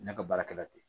Ne ka baarakɛla tɛ